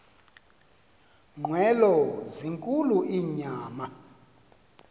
nqwelo zinkulu inyama